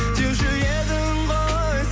деуші едің ғой